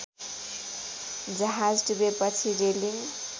जहाज डुबेपछि रेलिङ